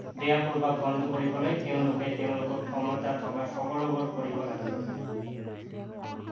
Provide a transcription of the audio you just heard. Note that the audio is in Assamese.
বেয়া প্ৰভাৱ বন্ধ কৰিবলৈ তেওঁলোকে তেওঁলোকৰ ক্ষমতা থকা সকলোবোৰ কৰিব লাগিব